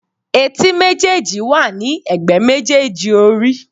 Etí méjèèjì wà ní ègbé méjèèjì orí.